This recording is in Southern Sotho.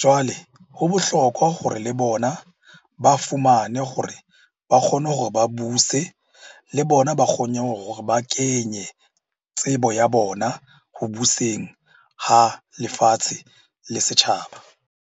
Jwale ho bohlokwa hore le bona ba fumane hore ba kgone hore ba buse, le bona ba kgone hore ba kenye tsebo ya bona ho buseng ha lefatshe le setjhaba.